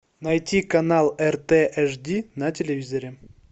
найти канал рт аш ди на телевизоре